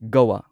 ꯒꯋꯥ